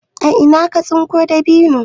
a Ina ka tsinko dabino?